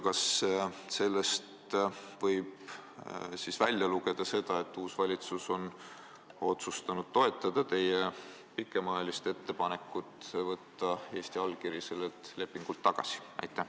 Kas sellest võib välja lugeda, et uus valitsus on otsustanud toetada teie pikemaajalist ettepanekut võtta Eesti allkiri sellelt lepingult tagasi?